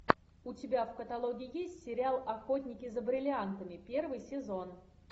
у тебя в каталоге есть сериал охотники за бриллиантами первый сезон